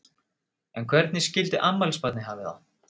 En hvernig skildi afmælisbarnið hafa það?